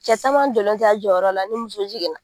Cɛ taman jɔlen tɛ a jɔyɔrɔ la ni muso jigin na